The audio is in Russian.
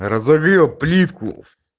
разобью плитку